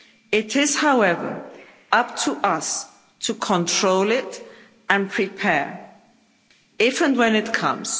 It is, however, up to us to control it and prepare, if and when it comes.